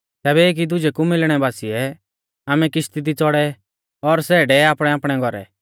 तैबै एकी दुजै कु मिलणै बासिऐ आमै किश्ती दी च़ौड़ै और सै डेवे आपणैआपणै घौरै